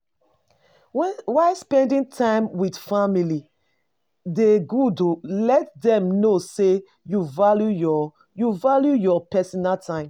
While spending time with family dey good, let them know sey you value your you value your personal time